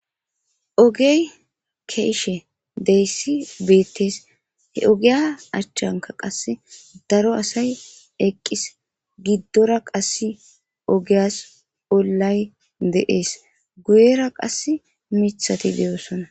Ogey keeshe deyssi beettees he ogiya achchanka qase daro asay eqqis giddora qass ogeyas ollay deees guyera qass mithati deyoosona.